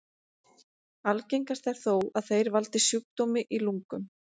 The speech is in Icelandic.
Algengast er þó að þeir valdi sjúkdómi í lungum.